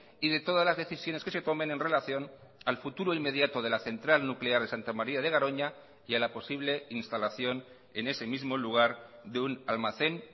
y de todas las decisiones que se tomen en relación al futuro inmediato de la central nuclear de santa maría de garoña y a la posible instalación en ese mismo lugar de un almacén